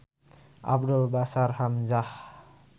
Abdul Bashir Hamzah.